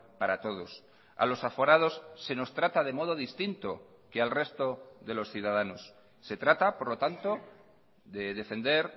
para todos a los aforados se nos trata de modo distinto que al resto de los ciudadanos se trata por lo tanto de defender